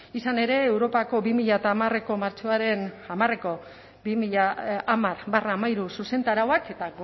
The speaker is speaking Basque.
izan ere europako bi mila hamareko martxoaren hamareko bi mila hamar barra hamairu zuzentarauak eta